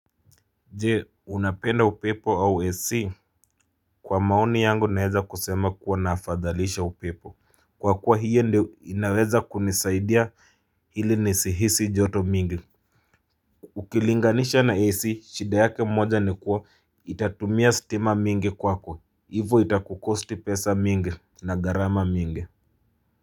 Je unapenda upepo au AC? Kwa maoni yangu naeza kusema kuwa nafadhalisha upepo kwa kuwa hiyo ndio inaweza kunisaidia ili nisihisi joto mingi ukilinganisha na AC shida yake moja ni kuwa itatumia stima mingi kwako hivo itakukosti pesa mingi na gharama mingi